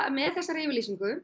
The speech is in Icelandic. með þessari yfirlýsingu